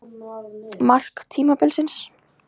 Mark tímabilsins?